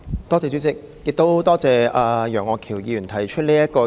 多謝楊岳橋議員提出這項議案。